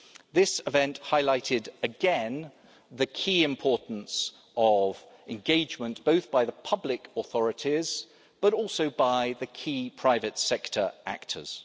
This event highlighted again the key importance of engagement, both by the public authorities, but also by the key private sector actors.